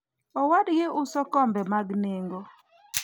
owadgi uso kombe mag nengo